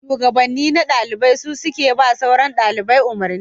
Shugabanni na dalibai su suke ba sauran dalibai umarni